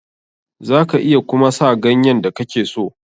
Za ka iya kuma sa ganyen da kake so.